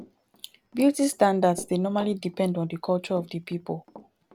beauty standards dey normally depend on di culture of di pipo